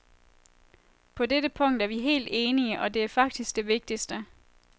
På dette punkt er vi helt enige, og det er faktisk det vigtigste.